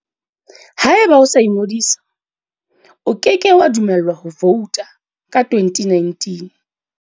Haeba o sa ingodisa, o ke ke wa dumellwa ho vouta ka 2019.